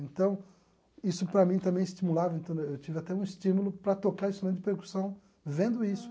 Então isso para mim também estimulava, então eu tive até um estímulo para tocar instrumento de percussão vendo isso.